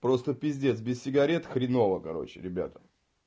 просто пиздец без сигарет хреново короче ребята